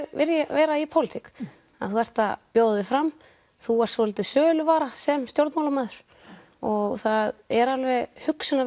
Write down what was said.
vera í pólitík þú ert að bjóða þig fram þú ert svolítil söluvara sem stjórnmálamaður og það er alveg